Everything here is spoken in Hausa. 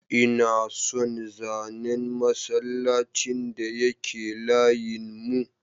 Ina son zanen masallacin da yake layin mu.